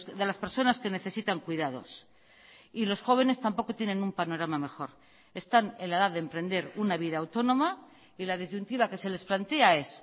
de las personas que necesitan cuidados y los jóvenes tampoco tienen un panorama mejor están en la edad de emprender una vida autónoma y la disyuntiva que se les plantea es